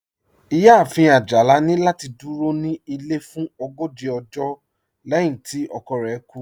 Iyáàfin Ajálà ni lati dúró ní ilẹ̀ fún ògójì ọ̀jọ́ lẹ̀hin tí ọkọ̀ rẹ̀ kú